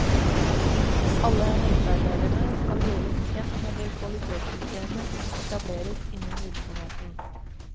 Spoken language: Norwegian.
Alle helsearbeiderne skal gjøres kjent med det kvalitetssystemet som etableres innen virksomheten.